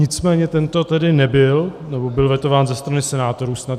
Nicméně tento tedy nebyl, nebo byl vetován ze strany senátorů snad.